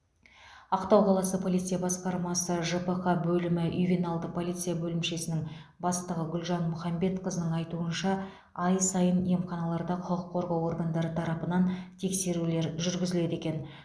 ақтау қаласы полиция басқармасы жпқ бөлімі ювеналды полиция бөлімшесінің бастығы гүлжан мұхамбетқызының айтуынша ай сайын емханаларда құқық қорғау органдары тарапынан тексерулер жүргізіледі екен